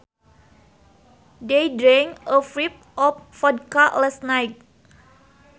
They drank a fifth of vodka last night